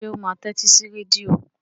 Ṣé ó máa tẹ́tí sí rédíò?